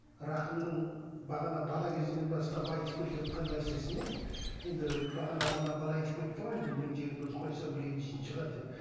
рақымның бағана бала кезінен бастап айтып келе жатқан нәрсесіне енді бағана мына бала айтып кетті ғой енді мен диагноз қойсам ренжитін шығар деп